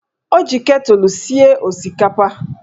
Ọ ji ketụlụ sie osikapa